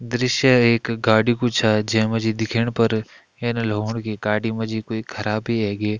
दृश्य एक गाड़ी कु छ जेमा जी दिखेण पर यन लगणु कि गाड़ी माँ जि क्वे खराबी एगे।